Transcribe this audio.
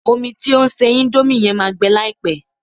Omi tí o ń se índómì yẹn máa gbẹ láìpẹ́